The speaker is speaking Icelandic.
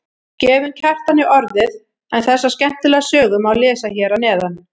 Gefum Kjartani orðið en þessa skemmtilegu sögu má lesa hér að neðan.